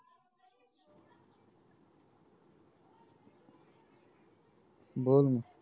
बोल मग